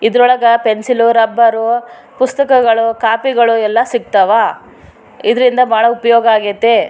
ಇದ್ರೊಳಗ pencil rubber ಪುಸ್ತಕಗಳು ಕೋಪಿಗಳು ಎಲ್ಲ ಸಿಗ್ತಾವ ಇದ್ರಿಂದ ಬಾಳ ಉಪ್ಯೋಗ ಆಗೈತೆ.